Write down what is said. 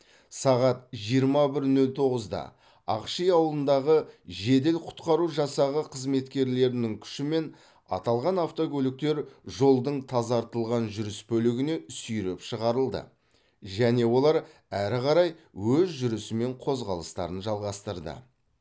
сағат жиырма бір нөл тоғызда ақши ауылындағы жедел құтқару жасағы қызметкерлерінің күшімен аталған автокөліктер жолдың тазартылған жүріс бөлігіне сүйреп шығарылды және олар әрі қарай өз жүрісімен қозғалыстарын жалғастырды